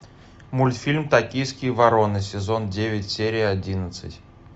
мультфильм токийские вороны сезон девять серия одиннадцать